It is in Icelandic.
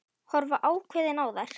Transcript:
Horfa ákveðin á þær.